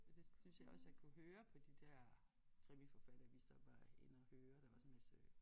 Men det synes jeg også jeg kunne høre på de der krimiforfattere vi så var inde at høre der var også en masse